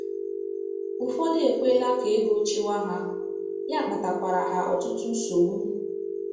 Ụfọdụ ekwela ka ego chịwa ha, ya akpatakwara ha ọtụtụ nsogbu.